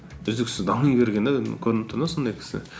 үздіксіз дами берген де енді көрініп тұр да сондай кісі